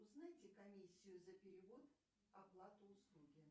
узнайте комиссию за перевод оплаты услуги